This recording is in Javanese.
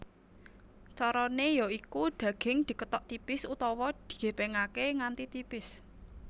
Carane ya iku dhaging dikethok tipis utawa digepengake nganti tipis